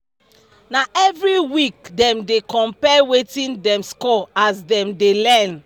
na every week dem dey compare wetin dem score as dem dey learn